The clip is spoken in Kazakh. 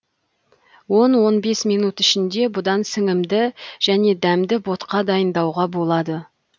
он он бес минут ішінде бұдан сіңімді және дәмді ботқа дайындауға болады